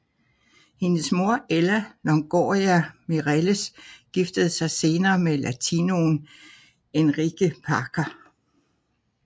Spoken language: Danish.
Hendes mor Ella Longoria Mireles giftede sig senere med latinoen Enrique Parker